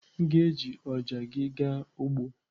M ga-eji ọja gị gaa ugbo.